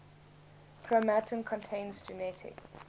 chromatin contains genetic